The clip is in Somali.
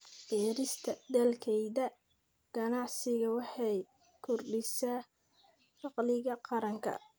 Beerista dalagyada ganacsigu waxay kordhisaa dakhliga qaranka.